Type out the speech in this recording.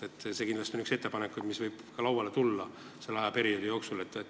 See on kindlasti üks ettepanekuid, mis võib selle ajaperioodi jooksul lauale tulla.